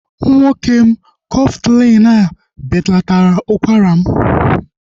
Nwoke m, Kọftalin e belataala ụkwara m